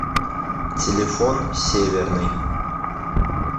телефон северный